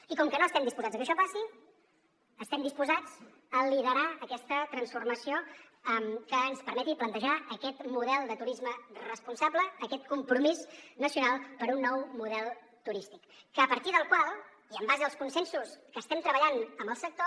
i com que no estem disposats a que això passi estem disposats a liderar aquesta transformació que ens permeti plantejar aquest model de turisme responsable aquest compromís nacional per un nou model turístic a partir del qual i en base als consensos que estem treballant amb el sector